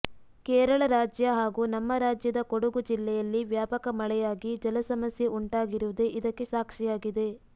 ಕೇರಳ ರಾಜ್ಯ ಹಾಗೂ ನಮ್ಮ ರಾಜ್ಯದ ಕೊಡಗು ಜಿಲ್ಲೆಯಲ್ಲಿ ವ್ಯಾಪಕ ಮಳೆಯಾಗಿ ಜಲ ಸಮಸ್ಯೆ ಉಂಟಾಗಿರುವುದೇ ಇದಕ್ಕೆ ಸಾಕ್ಷಿಯಾಗಿದೆ